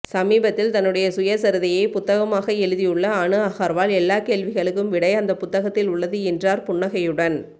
சமீபத்தில் தன்னுடைய சுயசரிதையை புத்தகமாக எழுதியுள்ள அனு அகர்வால் எல்லா கேள்விகளுக்கும் விடை அந்தப் புத்தகத்தில் உள்ளது என்றார் புன்னகையுடன்